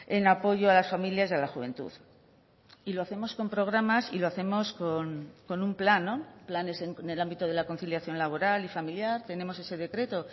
en apoyo a las familias y a la juventud y lo hacemos con programas y lo hacemos con un plan no planes en el ámbito de la conciliación laboral y familiar tenemos ese decreto